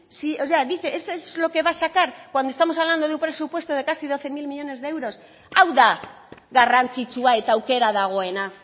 eso es lo que va a sacar cuando estamos hablando de un presupuesto de casi doce mil millónes de euros hau da garrantzitsua eta aukera dagoela